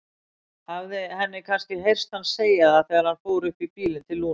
Hafði henni kannski heyrst hann segja það þegar hann fór upp í bílinn til Lúnu?